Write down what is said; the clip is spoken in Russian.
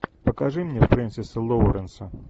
покажи мне фрэнсиса лоуренса